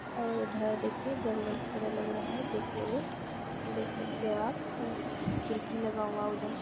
और उधर देखिये जंगल की तरह लग रहा है देखने में देख सकते है आप खिड़की लगा हुआ है उधर --